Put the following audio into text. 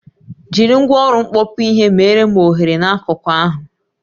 Jiri ngwaọrụ mkpọkpụ ihe meere m oghere n'akụkụ ahụ